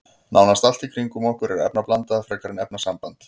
Nánast allt í kringum okkur er efnablanda frekar en efnasamband.